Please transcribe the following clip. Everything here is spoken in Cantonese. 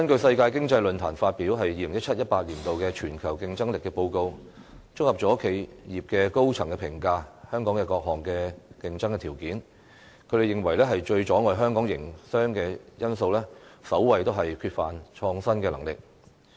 世界經濟論壇發表的《2017-2018 年度全球競爭力報告》，綜合了企業高層對香港各項競爭條件的評價，他們認為最阻礙香港營商的因素是缺乏創新能力。